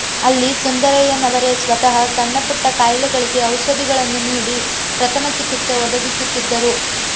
ಅಲ್ಲಿ ಸುಂದರಯ್ಯನವರೇ ಸ್ವತಃ ಸಣ್ಣ ಪುಟ್ಟ ಕಾಯಿಲೆಗಳಿಗೆ ಔಷಧಿಗಳನ್ನು ನೀಡಿ ಪ್ರಥಮ ಚಿಕಿತ್ಸೆ ಒದಗಿಸುತ್ತಿದ್ದರು